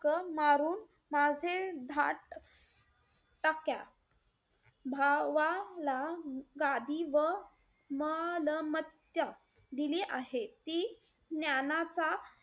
हक्क मारून माझे धाट टाक्यात भावाला गादी व मलमत्या दिली आहे. ती ज्ञानाचा,